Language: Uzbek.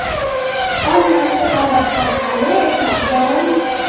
Onam Muhabbatxon aya esa buxorolik.